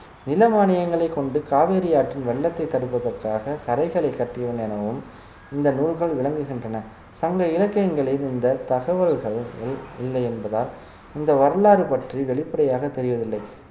நில மானியங்களைக் கொண்டு காவிரி ஆற்றின் வெள்ளத்தை தடுப்பதற்காக கரைகளை கட்டியவன் எனவும் இந்த நூல்கள் விளங்குகின்றன சங்க இலக்கியங்களில் இந்த தகவல்கள் இல்லை என்பதால் இந்த வரலாறு பற்றி வெளிப்படையாக தெரியவில்லை